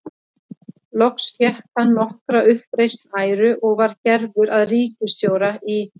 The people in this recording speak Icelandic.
Loks fékk hann nokkra uppreisn æru og var gerður að ríkisstjóra í